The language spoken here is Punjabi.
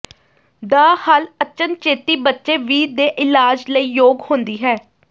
ਦਾ ਹੱਲ ਅਚਨਚੇਤੀ ਬੱਚੇ ਵੀ ਦੇ ਇਲਾਜ ਲਈ ਯੋਗ ਹੁੰਦੀ ਹੈ